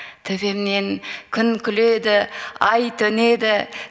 төбемнен күн күледі ай төнеді